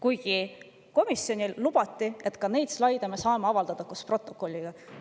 Ometi komisjonile lubati, et neid slaide me saame koos protokolliga avaldada.